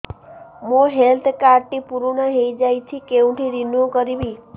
ମୋ health card ଟି ପୁରୁଣା ହେଇଯାଇଛି କେଉଁଠି ରିନିଉ କରିବି